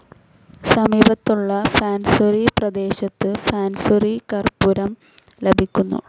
സമീപത്തുള്ള ഫാൻസുരി പ്രദേശത്തു ഫാൻസുരി കർപ്പൂരം ലഭിക്കുന്നു.